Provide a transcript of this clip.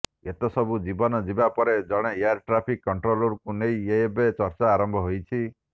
ଏତେ ସବୁ ଜୀବନ ଯିବା ପରେ ଜଣେ ଏୟାର ଟ୍ରାଫିକ୍ କଣ୍ଟ୍ରୋଲରଙ୍କୁ ନେଇ ଏବେ ଚର୍ଚ୍ଚା ଆରମ୍ଭ ହୋଇଛି